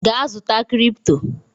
Gaa zụta cripto!